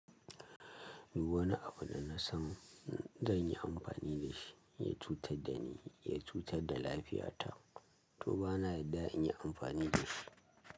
Duk wani abu da na san zan yi amfani da shi, ya cutar da ni, ya cutar da lafiyata, to bana daɗa in yi amfani da shi.